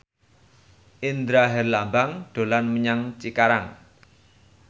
Indra Herlambang dolan menyang Cikarang